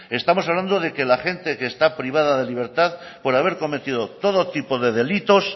estamos hablando de que la gente que está privada de libertad por haber cometido todo tipo de delitos